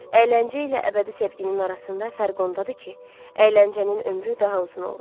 Əyləncə ilə əbədi sevginin arasında fərq ondadır ki, əyləncənin ömrü daha uzun olur.